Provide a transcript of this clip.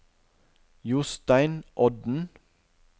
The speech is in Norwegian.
Jostein Odden